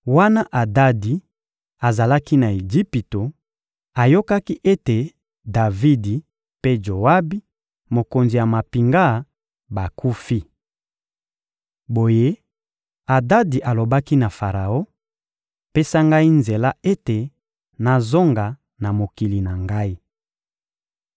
Wana Adadi azalaki na Ejipito, ayokaki ete Davidi mpe Joabi, mokonzi ya mampinga, bakufi. Boye, Adadi alobaki na Faraon: — Pesa ngai nzela ete nazonga na mokili na ngai.